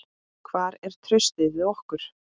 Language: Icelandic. Hvar er traustið við okkur?